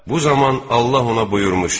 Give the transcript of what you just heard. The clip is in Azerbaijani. Bu zaman Allah ona buyurmuşdu: